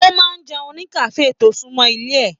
O máa n jẹun ní kafe to sunmọ ilé rẹ.